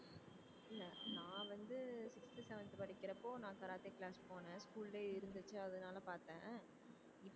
இல்ல நான் வந்து sixth seventh படிக்கிறப்போ நான் கராத்தே class போனேன் school லே இருந்துச்சி அதனால பாத்தேன்